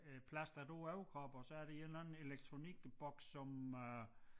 Øh plastret over æ overkrop og så er der en eller anden elektronikboks som øh